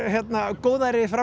góðæri